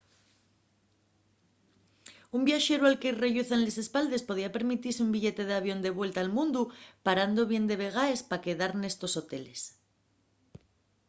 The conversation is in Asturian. un viaxeru al que-y relluzan les espaldes podría permitise un billete d'avión de vuelta al mundu parando bien de vegaes pa quedar nestos hoteles